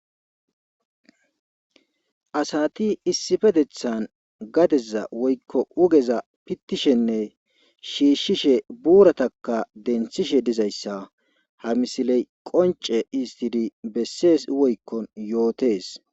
Asaati issfetethan gaseza woykko uugeza pittishenne shiiishishe buuratakka denthishe dizayssa ha misiley qoncce histidi bessees woykko yootees.